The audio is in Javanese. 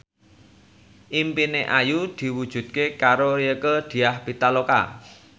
impine Ayu diwujudke karo Rieke Diah Pitaloka